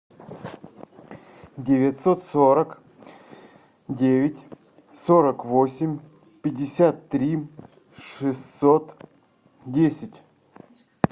девятьсот сорок девять сорок восемь пятьдесят три шестьсот десять